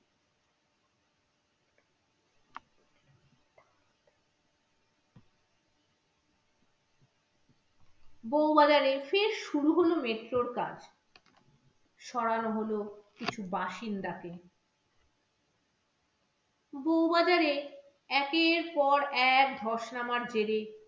বৌবাজারে ফের শুরু হলো metro র কাজ সরানো হলো কিছু বাসিন্দাকে বৌবাজারে একের পর এক ধস নামার জেড়ে